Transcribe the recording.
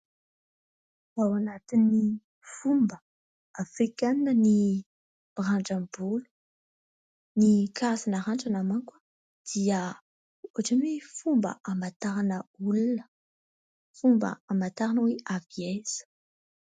Ao anatin'ny fomba afrikanina ny mirandram-bolo. Ny karazana randrana manko dia ohatran'ny hoe fomba hamantarana olona, fomba hamantarana hoe avy aiza.